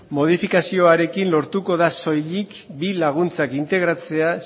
modifikazioarekin lortuko da soilik bi laguntzak integratzea